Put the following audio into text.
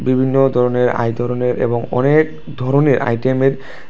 বিভিন্ন ধরনের আয়তরনের এবং অনেক ধরনের আইটেমের--